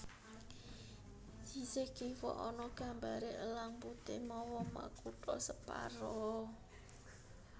Sisih kiwa ana gambaré Elang Putih mawa makutha separo